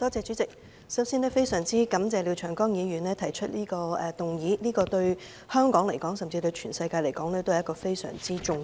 主席，首先非常感謝廖長江議員提出的議案，這議題對香港甚至全世界均十分重要。